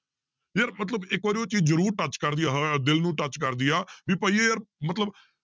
ਯਾਰ ਮਤਲਬ ਇੱਕ ਵਾਰ ਉਹ ਚੀਜ਼ ਜ਼ਰੂਰ touch ਕਰਦੀ ਆ ਦਿਲ ਨੂੰ touch ਕਰਦੀ ਆ ਵੀ ਭਾਈ ਇਹ ਯਾਰ ਮਤਲਬ